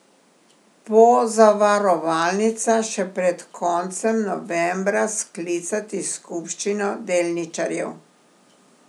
Pozavarovalnica še pred koncem novembra sklicati skupščino delničarjev.